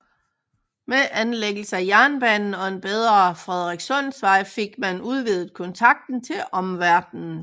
Med anlæggelsen af jernbanen og en bedre Frederikssundsvej fik man udvidet kontakten til omverdenen